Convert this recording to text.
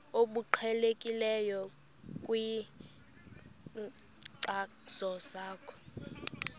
obuqhelekileyo kwinkcazo yakho